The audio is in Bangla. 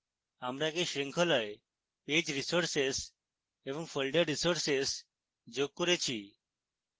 আমরা আগে শৃঙ্খলায় page resources এবং folder resources যোগ করেছি